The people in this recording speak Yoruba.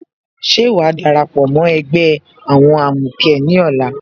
Ṣé wàá darapọ̀ mó ẹgbẹ́ àwọn amukẹ ní ọ̀la?